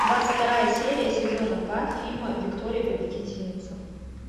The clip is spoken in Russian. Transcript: двадцать вторая серия сезона два фильма виктория победительница